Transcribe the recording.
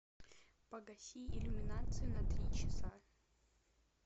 погаси иллюминацию на три часа